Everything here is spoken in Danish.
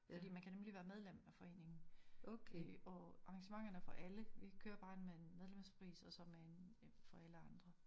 Fordi man kan nemlig være medlem af foreningen. Øh og arrangementerne er for alle vi kører bare med en medlemspris og så med en for alle andre